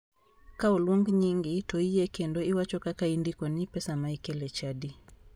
Ka oluong nyingi to iyie kendo iwacho kaka indikoni pesa ma ikelo e chadi.